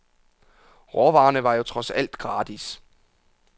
Råvarerne var jo trods alt gratis.